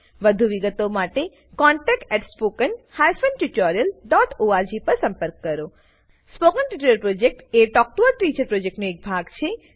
વધુ વિગતો માટે કૃપા કરી contactspoken tutorialorg પર લખો spoken tutorial project talk to a teacher પ્રોજેક્ટનો એક ભાગ છે